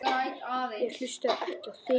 Ég hlusta ekki á þig.